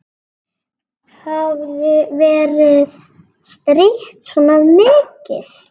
Hafði verið strítt svona mikið.